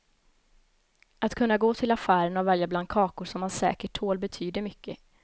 Att kunna gå till affären och välja bland kakor som man säkert tål betyder mycket.